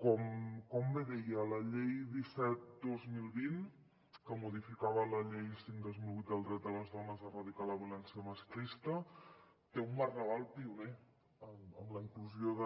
com bé deia la llei disset dos mil vint que modificava la llei cinc dos mil vuit del dret de les dones a erradicar la violència masclista té un marc legal pioner amb la inclusió